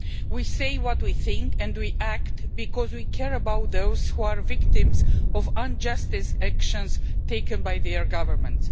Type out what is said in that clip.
We say what we think and we act because we care about those who are victims of unjust actions taken by their government.